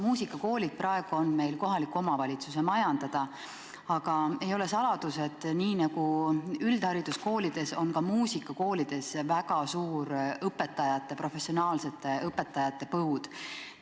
Muusikakoolid on praegu kohalike omavalitsuste majandada, aga ei ole saladus, et nii nagu üldhariduskoolides, on ka muusikakoolides väga suur professionaalsete õpetajate põud.